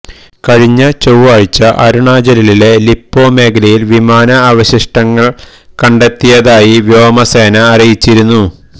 കഴിഞ്ഞ ചൊവ്വാഴ്ച അരുണാചലിലെ ലിപോ മേഖലയില് വിമാന അവശിഷ്ടങ്ങള്കണ്ടെത്തിയതായി വ്യാമസേന അറിയിച്ചിരുന്നു